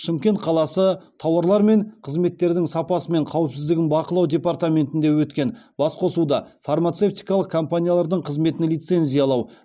шымкент қаласы тауарлар мен қызметтердің сапасы мен қауіпсіздігін бақылау департаментінде өткен басқосуда фармацевтикалық компаниялардың қызметін лицензиялау